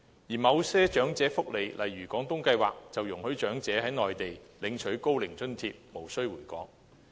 而某些長者福利計劃，例如"廣東計劃"，則容許長者在內地領取高齡津貼，無需回港。